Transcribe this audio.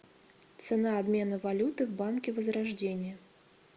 цена обмена валюты в банке возрождение